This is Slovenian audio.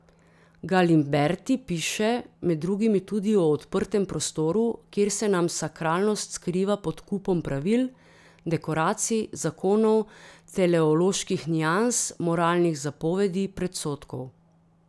Galimberti piše med drugimi tudi o odprtem prostoru, kjer se nam sakralnost skriva pod kupom pravil, dekoracij, zakonov, teleoloških nians, moralnih zapovedi, predsodkov.